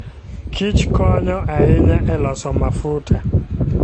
Kich konyo ahinya e loso mafuta.